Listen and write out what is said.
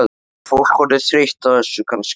Er fólk orðið þreytt á þessu kannski?